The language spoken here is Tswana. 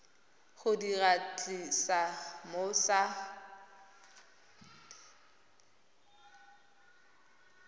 go di tlisa mo sa